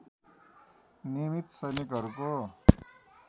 नियमित सैनिकहरूको